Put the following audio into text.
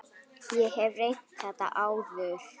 Ég hef reynt þetta áður.